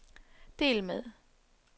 del med